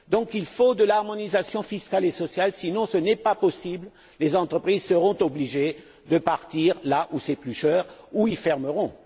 Il faut donc une harmonisation fiscale et sociale sinon, ce n'est pas possible, et les entreprises seront obligées de partir de là où c'est plus cher ou elles fermeront.